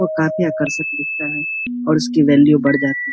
और काफी आकर्षिक दिखता है और उसकी वैल्यू बड़ जाती है।